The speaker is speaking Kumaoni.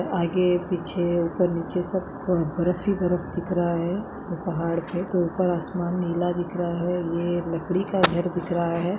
आगे पीछे ऊपर नीचे सब बर्फ ही बर्फ दिख रहा है पहाड़ पे तो ऊपर आसमान नीला दिख रहा है ये लकड़ी का घर दिख रहा है।